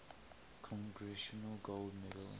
congressional gold medal